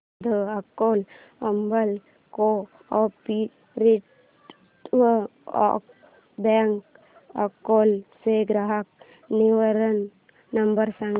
the Akola urban cooperative bank Akola चा ग्राहक निवारण नंबर सांग